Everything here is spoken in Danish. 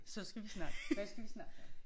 Så skal vi snakke hvad skal vi snakke om